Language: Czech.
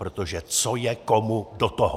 Protože co je komu do toho?!